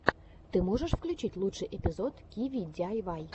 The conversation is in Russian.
ты можешь включить лучший эпизод киви диайвай